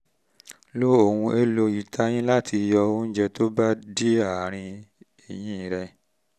lo lo ohun-èlò ìtayín láti yọ oúnjẹ tó bá dí àárín eyín rẹ